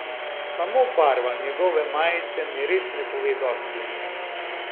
Samo barva njegove majice mi res ne pove dosti o njem.